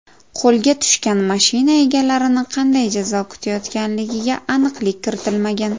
Qo‘lga tushgan mashina egalarini qanday jazo kutayotganligiga aniqlik kiritilmagan.